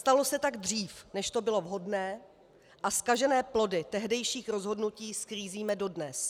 Stalo se tak dříve, než to bylo vhodné, a zkažené plody tehdejších rozhodnutí sklízíme dodnes.